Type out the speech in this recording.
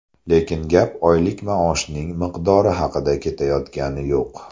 Lekin gap oylik maoshning miqdori haqida ketayotgani yo‘q.